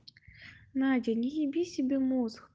надя не еби себе мозг